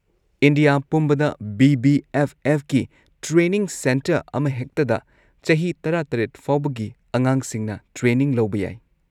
India ꯄꯨꯝꯕꯗ ꯕꯤ.ꯕꯤ.ꯑꯦꯐ.ꯑꯦꯐ.ꯀꯤ training centre ꯑꯃꯍꯦꯛꯇꯗ ꯆꯍꯤ ꯱꯷ ꯐꯥꯎꯕꯒꯤ ꯑꯉꯥꯡꯁꯤꯡꯅ ꯇ꯭ꯔꯦꯅꯤꯡ ꯂꯧꯕ ꯌꯥꯏ꯫